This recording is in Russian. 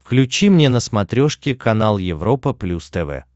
включи мне на смотрешке канал европа плюс тв